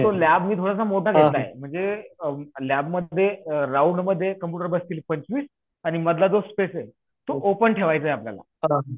lab मी थोडासा मोठा घेतला आहे म्हणजे लॅबमध्ये अ राउंडमध्ये कम्प्युटर बसतील पंचवीस आणि मधला जो स्पेस हे तो ओपन ठेवायचा आपल्याला अ